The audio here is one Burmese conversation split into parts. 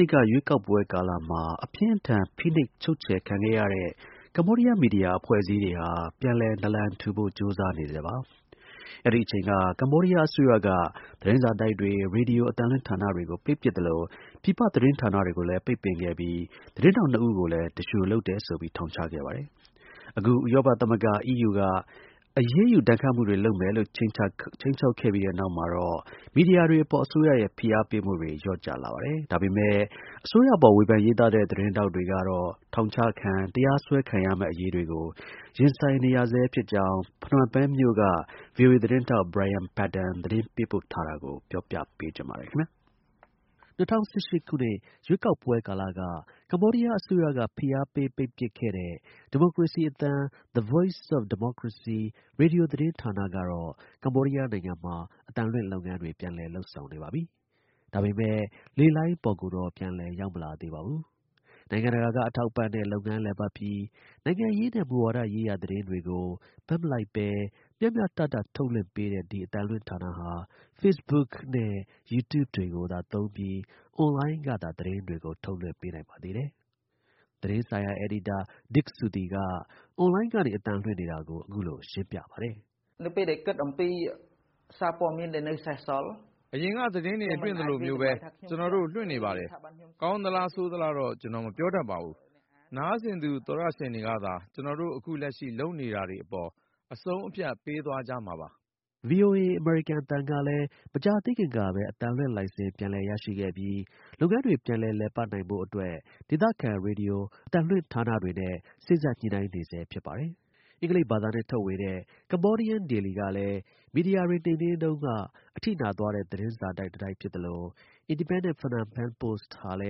နှစ် ရွေးကောက်ပွဲကာလအတွင်း အပြင်းအထန် ဖိနှိပ် ချုပ်ချယ်ခံခဲ့ရတဲ့ မီဒီယာ အဖွဲ့အစည်းတွေဟာ ပြန်လည် နာလန်ထူဖို့ ကြိုးစားနေဆဲပါ။ အဲဒီ အချိန်က ကမ္ဘောဒီးယားအစိုးရဟာ သတင်းစာတိုက်တွေ ရေဒီယို အသံ လွှင့်ရုံတွေကို ပိတ်ပစ် သလို ပြည်ပ သတင်းဌာနတွေကိုလည်း ပိတ်ပင်ခဲ့ပြီး သတင်းထောက် ၂ ဦးကိုလည်း သူလျှိုလုပ်တယ်ဆိုပြီး ထောင်ချခဲ့ပါတယ်။ အခု ဥရောပ သမဂ္ဂ (EU) က အရေးယူ ဒဏ်ခတ်မှုတွေ လုပ်မယ်လို့ ခြိမ်းခြောက်ခဲ့တဲ့နောက်မှာတော့ မီဒီယာ တွေအပေါ် အစိုးရရဲ့ ဖိအားပေးမှုတွေကို လျော့ကျလာပါတယ်။ ဒါပေမဲ့ အစိုးရအပေါ် ဝေဖန် ရေးသားတဲ့ သတင်းထောက်ကတော့ ထောင်ချခံတရားစွဲခံရမယ့်အရေးကို ရင်ဆိုင်နေရ ဆဲဖြစ်ကြောင်း ဖနွမ်းပင်မြို့က VOA သတင်းထောက် Brian Padden သတင်းပေးပို့ ထားတာကို ပြောပြပေးချင်ပါတယ်။ ၂၀၁၈ ရွေးကောက်ပွဲကာလက ကမ္ဘောဒီးယား အစိုးရက ဖိအားပေးပိတ်ပစ်ခဲ့တဲ့ ဒီမိုကရေစီအသံ (The Voice of Democracy) ရေဒီယိုသတင်းဌာန ကတော့ ကမ္ဘောဒီးယားမှာ အသံလွှင့်လုပ်ငန်းတွေ ပြန်လည် လုပ်ဆောင်နေပါပြီ။ ဒါပေမဲ့ လေလှိုင်းပေါ်ကိုတော့ ပြန်လည် ရောက်မလာသေးပါဘူး။ နိုင်ငံတကာ က အထောက်အပံ့နဲ့ လုပ်ငန်းလည်ပတ်ပြီး နိုင်ငံရေးနဲ့ မူဝါဒရေးရာ သတင်းတွေကို ဘက်မလိုက်ဘဲ မျှမျှတတ ထုတ်လွှင့်ပေးတဲ့ ဒီ အသံလွှင့် ဌာနဟာ Facebook နဲ့ YouTube တွေကိုသုံးပြီး (streams) အွန်လိုင်းကသာ သတင်းတွေ ထုတ်လွှင့်နိုင်ပါတယ်။ သတင်းဆိုင်ရာအယ်ဒီတာ Dit Sokthy က online ကနေ အသံလွှင့်နေတာကို အခုလို ရှင်းပြပါတယ်။ “အရင်က သတင်းတွေ လွှင့်သလိုမျိုးပဲ ကျွန်တော်တို့ လွှင့်နေပါတယ်။ ကောင်းသလား ဆိုးသလားတော့ ကျွန်တော် မပြောတတ်ပါဘူး။ နားဆင်သူ သောတရှင်တွေကသာ ကျွန်တော်တို့ အခုလက်ရှိ လုပ်နေတာတွေအပေါ် အဆုံးအဖြတ်ပေးသွားကြမှာပါ။" VOA အမေရိကန်အသံကလည်း မကြာသေးခင်ကပဲ အသံလွှင့်လိုင်စင် ပြန်လည်ရရှိခဲ့ပြီး လုပ်ငန်းတွေ ပြန်လည် လည်ပတ်နိုင်ဖို့ ဒေသခံ ရေဒီယို အသံလွှင့်ဌာနတွေနဲ့ စေ့စပ် ညှိနှိုင်းနေဆဲ ဖြစ်ပါတယ်။ အင်္ဂလိပ်ဘာသာနဲ့ထုတ်ဝေတဲ့ Cambodian Daily ကလည်း မီဒီယာတွေနှိမ်နင်းခံရတုန်းကထိသွားခဲ့တဲ့သတင်းစာတိုက်တစ်တိုက်ဖြစ်သလို Independent Phnom Penh Post ဟာလ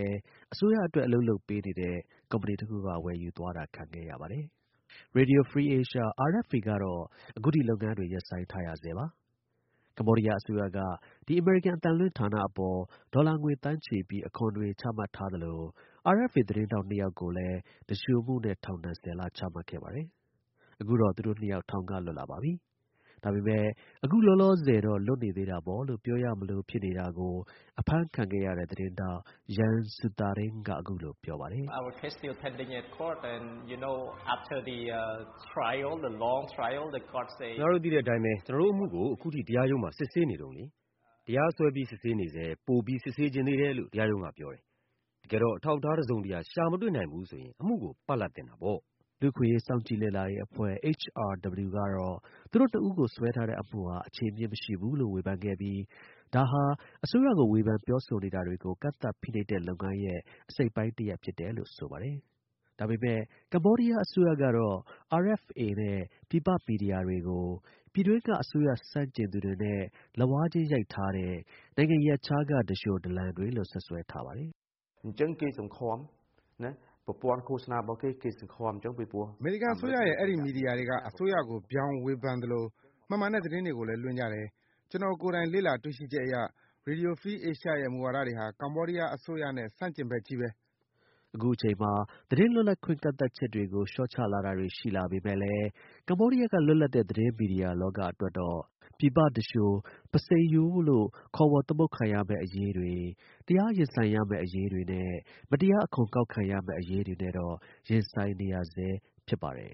ည်း အစိုးရအတွက် အလုပ်လုပ်ပေးနေတဲ့ ကုမ္ပဏီတစ်ခုက ဝယ်ယူသွားတာခံခဲ့ရပါတယ်။ Radio Free Asia - RFA ကတော့ အခုထိ လုပ်ငန်းတွေ ရပ်ဆိုင်းထားရဆဲပါ။ ကမ္ဘောဒီးယား အစိုးရက ဒီ အမေရိကန် အသံလွှင့် ဌာနအပေါ် ဒေါ်လာငွေသန်းချီပြီး အခွန်တွေ ချမှတ်ထားသလို RFA သတင်းထောက် ၂ ယောက်ကိုလည်း သူလျှိုမှုနဲ့ ထောင် ၁၀ လ ချမှတ်ခဲ့ ပါတယ်။ အခုတော့ သူတို့ ၂ ယောက် ထောင်က လွတ်လာပါပြီ။ အခု လောလောဆယ်တော့ လွတ်နေသေးတာပေါ့လို့ ပြောရမလိုလို ဖြစ်နေတာကို အဖမ်းခံခဲ့ရတဲ့ သတင်းထောက် Yeang Sothearin က အခုလို ပြောပါတယ်။ “ခင်ဗျားတို့ သိတဲ့အတိုင်းပဲ အခုအထိပဲ ကျွန်တော်တို့ အမှုကို တရားရုံးမှာ စစ်ဆေးနေတုန်းလေ။ တရားစွဲပြီးစစ်ဆေးနေဆဲ ပိုပြီး စစ်ဆေးချင် သေးတယ်လို့ တရားရုံးက ပြောတယ်။ တကယ်တော့ အထောက်အထား တစ်စုံတစ်ရာ ရှာမတွေ့နိုင်ဘူးဆိုရင် အမှုကို ‘ပလပ်’ သင့်တာပေါ့။” လူ့အခွင့်အရေး စောင့်ကြည့်လေ့လာရေးအဖွဲ့ (HRW) ကတော့ သူတို့ ၂ ဦးကို စွဲထားတဲ့ အမှုဟာ အခြေအမြစ် မရှိဘူးလို့ ဝေဖန်ခဲ့ပြီး ဒါဟာ အစိုးရကို ဝေဖန်ပြောဆိုနေတာတွေကို ကန့်သတ် ဖိနှိပ်တဲ့ လုပ်ငန်းရဲ့ အစိတ်အပိုင်း ဖြစ်တယ်လို့ ဆိုပါတယ်။ ဒါပေမဲ့ ကမ္ဘောဒီးယား အစိုးရကတော့ RFA နဲ့ ပြည်ပ မီဒီယာတွေကို ပြည်တွင်းက အစိုးရ ဆန့်ကျင်သူတွေနဲ့ လက်ဝါးချင်း ရိုက်ထားတဲ့ နိုင်ငံ ရပ်ခြားက သူလျှို ဒလန်တွေလို့ စွပ်စွဲထားပါတယ်။ “အဲဒီ အမေရိကန် အစိုးရရဲ့ မီဒီယာတွေက အစိုးရကို ဗြောင် ဝေဖန်သလို မမှန်တဲ့သတင်းတွေကိုလည်း လွှင့်ကြတယ်။ ကျွန်တော်ကိုယ်တိုင် လေ့လာတွေ့ရှိချက်အရ Radio Free Asia ရဲ့ မူဝါဒတွေဟာ ကမ္ဘောဒီးယား အစိုးရနဲ့ ဆန့်ကျင်ဘက်ချည်းပဲ။” အခုအချိန်မှာ သတင်းလွတ်လပ်ခွင့် ကန့်သတ်ချက်တွေကို လျှော့ချလာတာတွေ ရှိလာပေမဲ့လည်း ကမ္ဘောဒီယားက လွတ်လပ်တဲ့ သတင်း မီဒီယာ လောကအတွက်တော့ ပြည်ပ သူလျှို ပုဆိန်ရိုးလို့ ခေါ်ဝေါ် သမုတ်ခံရမယ့်အရေးတွေ၊ တရား ရင်ဆိုင်ရမယ့် အရေးတွေနဲ့ မတရား အခွန်ကောက်ခံရမယ့် အရေးတွေနဲ့တော့ ရင်ဆိုင်နေရဆဲ ဖြစ်ပါတယ်